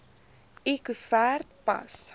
l koevert pas